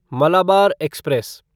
Malabar express